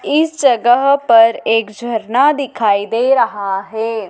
इस जगह पर एक झरना दिखाई दे रहा है।